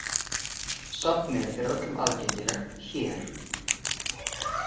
Safnið er öllum aðgengilegt hér.